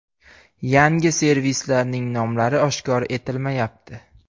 Yangi servislarning nomlari oshkor etilmayapti.